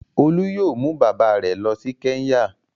Olú yóò mú bàbá rẹ̀ lọ sí Kẹ́ńyà.